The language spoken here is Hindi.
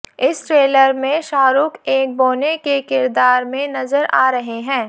इस ट्रेलर में शाहरुख एक बौने के किरदार में नजर आ रहे हैं